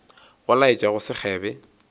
go laetša go se kgebe